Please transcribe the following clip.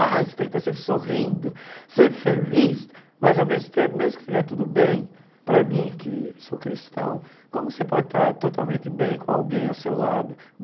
Ah, você tem que estar sempre sorrindo, sempre feliz, mas, ao mesmo tempo, mesmo que estiver tudo bem, para mim, que sou cristão, como você pode estar totalmente bem com alguém ao seu lado?